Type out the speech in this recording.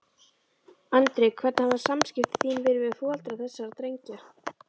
Andri: Hvernig hafa samskipti þín verið við foreldra þessara drengja?